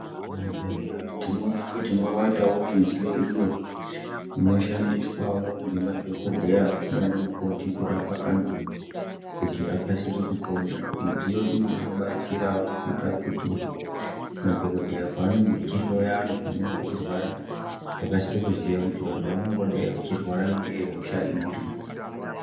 Muzvibhehlera tioona kuti mwowandawo mudziyoiyo inoshandiswa ngemadhokodheya nanamukoti kurapa antu kuti akasire kupona mudziyo iyi inobatsirawo kuita kuti madhokodheya panenge achihloya vantu panenge vachirwara vakasire kuziya kuti vantu vangadaro vachirwara ngehosha iri.